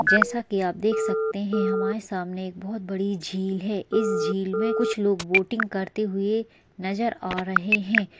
जैसा की आप देख सकते है की हमारे सामने एक बहोत बड़ी झील है इस झील मे कुछ लोग बोटिंग करते हुए नज़र आ रहे है।